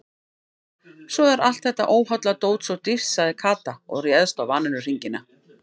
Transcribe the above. Svo er allt þetta óholla dót svo dýrt sagði Kata og réðst á vanilluhringina.